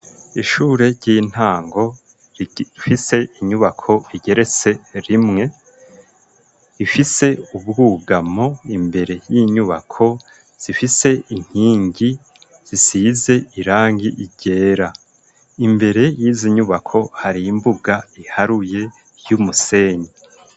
Ishure ry'intango, rifise inyubako igeretse rimwe, ifise ubwugamo, imbere y'inyubako zifise inkingi zisize irangi ryera, imbere yizi nyubako hari imbuga iharuye y'umusenyi.